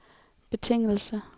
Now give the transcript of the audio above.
betingelse